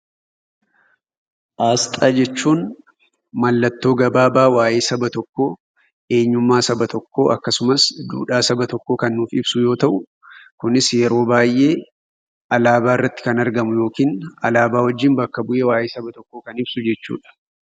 Asxaa jechuun mallattoo gabaabaa waa'ee saba tokkoo, eenyummaa saba tokkoo akkasumas duudhaa saba tokkoo kan nuuf ibsu yoo ta'u, kunis yeroo baay'ee alaabaa irratti kan argamu yookiin alaabaa wajjin bakka bu'ee waa'ee saba tokkoo kan ibsu jechuudha.